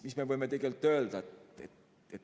Mis me võime öelda?